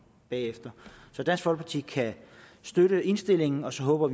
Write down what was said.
bagefter så dansk folkeparti kan støtte indstillingen og så håber